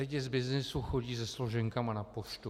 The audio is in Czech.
Lidi z byznysu chodí se složenkami na poštu.